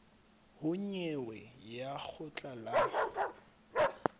ho nyewe ya lekgotla la